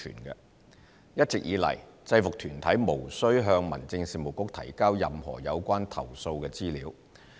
一直以來，制服團體無需向民政事務局提交任何有關投訴的資料。